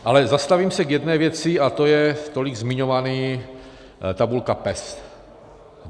Ale zastavím se u jedné věci a to je tolik zmiňovaná tabulka PES.